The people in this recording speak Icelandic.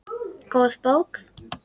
Góð bók.